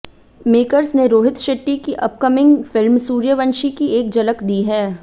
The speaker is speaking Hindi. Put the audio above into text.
मेकर्स ने रोहित शेट्टी की अपकमिंग फिल्म सूर्यवंशी की एक झलक दी है